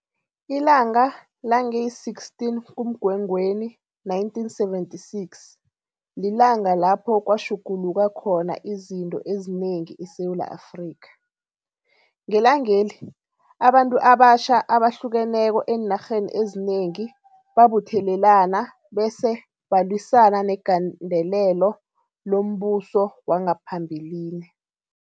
Ilanga lange 16 kuMgwengweni 1976 lilanga lapho kwatjhuguluka khona izinto ezinengi eSewula Afrika. Ngelangeli abantu abatjha abahlukeneko eenarheni ezinengi babuthelelana bese balwisana negandelelo lombuso wangaphambilini.